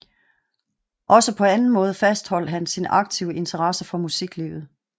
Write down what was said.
Også på anden måde fastholdt han sin aktive interesse for musiklivet